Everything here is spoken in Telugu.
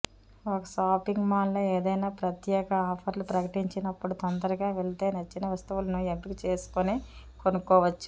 ఒక షాపింగ్ మాల్లో ఏదైనా ప్రత్యేక ఆఫర్లు ప్రకటించినప్పుడు తొందరగా వెళితే నచ్చిన వస్తువులను ఎంపిక చేసుకుని కొనుక్కోవచ్చు